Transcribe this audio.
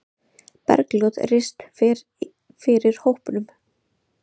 Bergljót Rist fer fyrir hópnum.